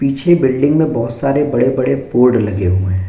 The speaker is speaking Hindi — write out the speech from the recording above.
पीचे बिल्डिंग में बहोत सारे बडे-बडे बोर्ड लगे हुए हैं।